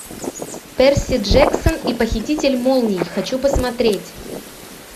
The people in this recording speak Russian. перси джексон и похититель молний хочу посмотреть